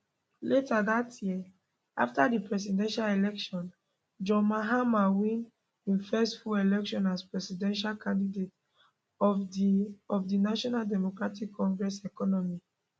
later dat year afta di presidential election john mahama win im first full election as presidential candidate of di of di national democratic congress economy